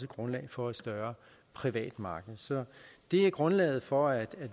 grundlag for et større privat marked så det er grundlaget for at